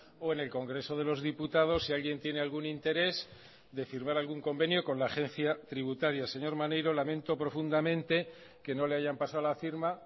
o en el congreso de los diputados si alguien tiene algún interés de firmar algún convenio con la agencia tributaria señor maneiro lamento profundamente que no le hayan pasado la firma